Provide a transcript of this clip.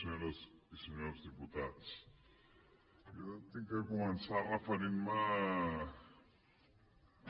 senyores i senyors diputats jo he de començar referint me